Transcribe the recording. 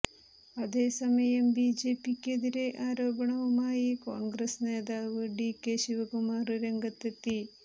അതേസമയം B J പിക്കെതിരെ ആരോപണവുമായി കോണ്ഗ്രസ് നേതാവ് ഡി കെ ശിവകുമാര് രംഗത്തെത്തി